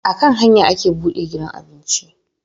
A kan hanya ake buɗe gidan abinci